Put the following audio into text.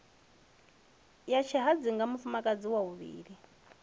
ya tshihadzinga mufumakadzi wa vhuvhili